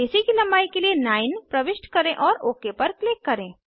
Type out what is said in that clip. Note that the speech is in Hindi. एसी की लंबाई के लिए 9 प्रविष्ट करें और ओक पर क्लिक करें